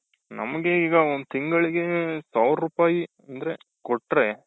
ನಮಗೀಗ ಒಂದ್ ತಿಂಗಳ್ಗೆ ಸಾವ್ರೂಪಾಯ್ ಅಂತ ಕೊಟ್ರೆ.